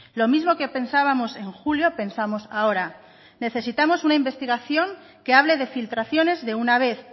lo mismo que pensábamos en julio pensamos ahora necesitamos una investigación que hable de filtraciones de una vez